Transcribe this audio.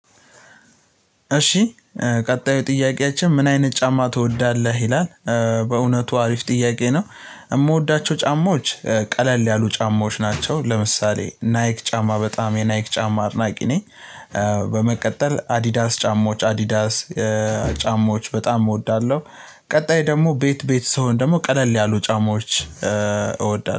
እሺ ቀጣዩ ጥያቄያችን ምን አይነት ጫማ ትወዳለህ ይላል? በእውነቱ አሪፍ ጥያቄ ነው። የምወዳቸው ጫማዎች ቀለል ያሉ ጫማዎች ናቸው ለምሳሌ ናይክ ጫማ በጣም የናይክ ጫማ አድናቂ ነኝ። በመቀጠል አዲዳስ ጫማዎች አዲዳስ። ጫማዎች በጣም እወዳለሁ። ቀጣይ ደግሞ ቤት ቤት ስሆን ደግሞ ቀለል ያሉ ጫማዎች እወዳለሁ